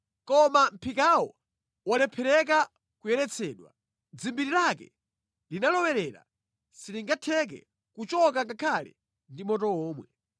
Koma mʼphikawo walephereka kuyeretsedwa. Dzimbiri lake linalowerera silingatheke kuchoka ngakhale ndi moto womwe.